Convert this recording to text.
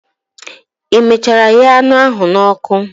i mechara ghee anu ehi a n'oku?